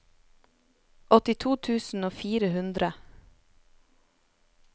åttito tusen og fire hundre